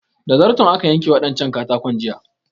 Da zarton aka yanka waɗancan katakon jiya